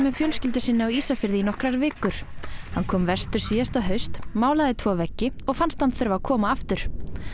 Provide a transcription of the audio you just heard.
fjölskyldu sinni á Ísafirði í nokkrar vikur hann kom vestur síðasta haust málaði tvo veggi og fannst hann þurfa að koma aftur